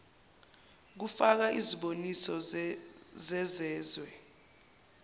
kufaka iziboniso zezezwe